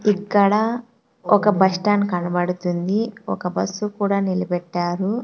ఇక్కడ ఒక bus stand కనబడుతుంది ఒక బస్సు కూడా నిలబెట్టారు.